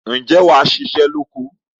ǹjẹ́ wà á ṣiṣẹ́ lóko?